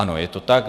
Ano, je to tak.